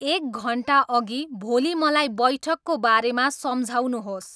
एक घन्टाअघि भोलि़ मलाई बैठकको बारेमा सम्झाउनुहोस्